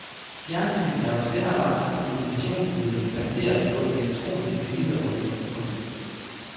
Fjernsynet er jo slet og ret et kommunikationsmiddel baseret på elektronisk billede og lyd. punktum